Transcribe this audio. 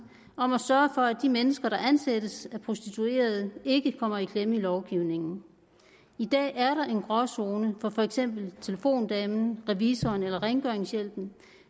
om at sørge for at de mennesker der ansættes af prostituerede ikke kommer i klemme i lovgivningen i dag er der en gråzone for for eksempel telefondamen revisoren eller rengøringshjælpen